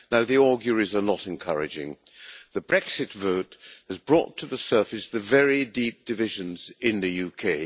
The auguries are not encouraging. The Brexit vote has brought to the surface the very deep divisions in the UK.